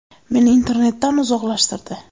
Meni internetdan uzoqlashtirdi.